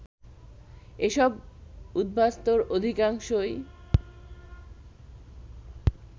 এসব উদ্বাস্তুর অধিকাংশই